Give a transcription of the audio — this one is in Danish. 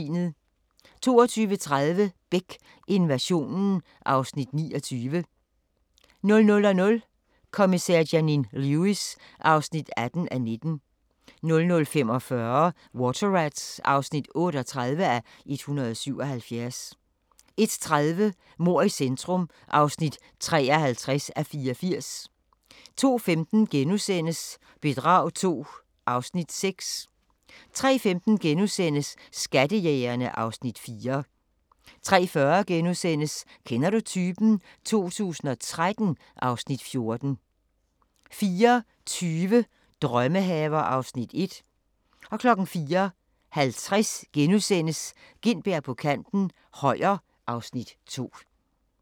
22:30: Beck: Invasionen (Afs. 29) 00:00: Kommissær Janine Lewis (18:19) 00:45: Water Rats (38:177) 01:30: Mord i centrum (53:84) 02:15: Bedrag II (Afs. 6)* 03:15: Skattejægerne (Afs. 4)* 03:40: Kender du typen? 2013 (Afs. 14)* 04:20: Drømmehaver (Afs. 1) 04:50: Gintberg på kanten - Højer (Afs. 2)*